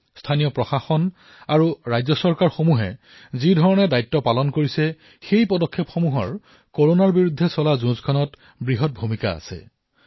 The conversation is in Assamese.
স্থানীয় প্ৰশাসন ৰাজ্য চৰকাৰ সকলোৱে কৰোনাৰ বিৰুদ্ধে যুঁজত বৃহৎ ভূমিকা পালন কৰি আছে